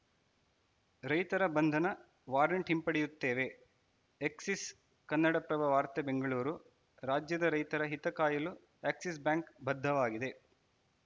ರೈತರ ಬಂಧನ ವಾರಂಟ್‌ ಹಿಂಪಡೆಯುತ್ತೇವೆ ಎಕ್ಸಿಸ್‌ ಕನ್ನಡಪ್ರಭ ವಾರ್ತೆ ಬೆಂಗಳೂರು ರಾಜ್ಯದ ರೈತರ ಹಿತ ಕಾಯಲು ಎಕ್ಸಿಸ್‌ ಬ್ಯಾಂಕ್‌ ಬದ್ಧವಾಗಿದೆ